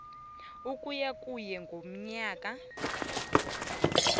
ukuya kur ngomnyaka